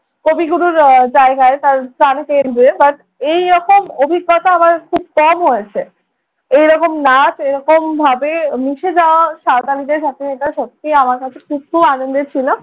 কবিগুরুর আহ জায়গায় তার প্রাণ কেন্দ্রে but এরকম অভিজ্ঞতা আমার খুব কম হয়েছে। এরকম নাচ, এরকমভাবে মিশে যাওয়া সাঁওতালিদের সাথে এটা সত্যি আমার কাছে খুব খুব আনন্দের ছিল।